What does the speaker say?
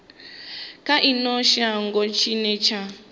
kha ino shango tshine tsha